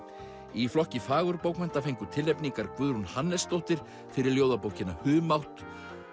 í flokki fagurbókmennta fengu tilnefningar Guðrún Hannesdóttir fyrir ljóðabókina humátt